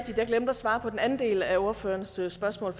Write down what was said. svare på den anden del af ordførerens spørgsmål